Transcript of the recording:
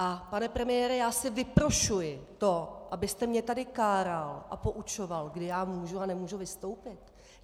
A pane premiére, já si vyprošuji to, abyste mě tady káral a poučoval, kdy já můžu a nemůžu vystoupit.